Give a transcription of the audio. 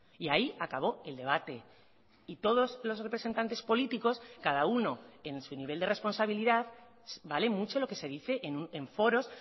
y ahí acabó el debate y todos los representantes políticos cada uno en su nivel de responsabilidad vale mucho lo que se dice en foros